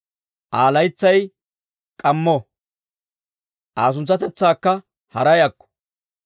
Aa laytsay k'aammo; Aa suntsatetsaakka haray akko!